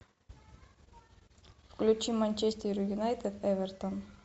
включи манчестер юнайтед эвертон